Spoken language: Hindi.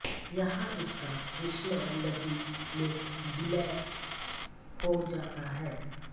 यहाँ इसका कृष्णा नदी में विलय हो जाता है